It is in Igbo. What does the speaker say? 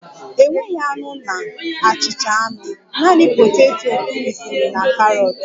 Enweghị anụ na achịcha anụ, naanị poteto kụrisịrị na karọt